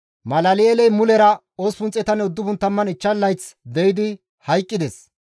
Malal7eeley mulera 895 layth de7idi hayqqides.